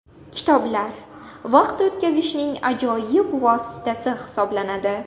Kitoblar – vaqt o‘tkazishning ajoyib vositasi hisoblanadi.